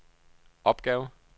opgave